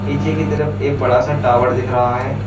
नीचे की तरफ एक बड़ा सा टॉवर दिख रहा है।